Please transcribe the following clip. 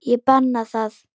Ég banna það.